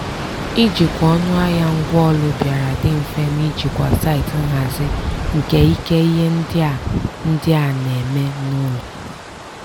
ijikwa ọnụahịa ngwaaụlọ bịara dị mfe n'ijikwa site nhazi nke ike ihe ndị a ndị a na-eme n'ụlọ.